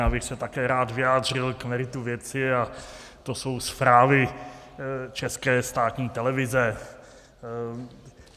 Já bych se také rád vyjádřil k meritu věci, a to jsou zprávy České státní televize.